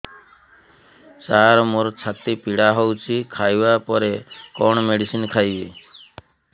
ସାର ମୋର ଛାତି ପୀଡା ହଉଚି ଖାଇବା ପରେ କଣ ମେଡିସିନ ଖାଇବି